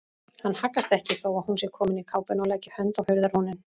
Hann haggast ekki þó að hún sé komin í kápuna og leggi hönd á hurðarhúninn.